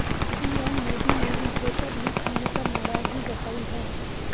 PM Modi ने भी paper leak होने पर नाराजगी जताई है